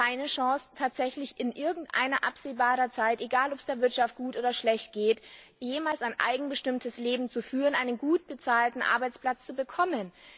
Sie haben keine Chance, tatsächlich in absehbarer Zeit egal, ob es der Wirtschaft gut oder schlecht geht jemals ein selbstbestimmtes Leben zu führen, einen gut bezahlten Arbeitsplatz zu bekommen.